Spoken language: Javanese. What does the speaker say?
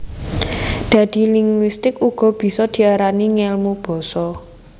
Dadi linguistik uga bisa diarani Ngèlmu basa